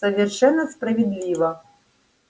совершенно справедливо